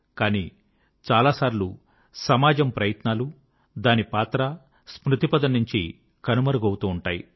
కానీ చాలాసార్లు సమాజం యొక్క ప్రయత్నాలు దాని పాత్ర స్మృతిపథం నుంచి కనుమరుగవుతూ ఉంటాయి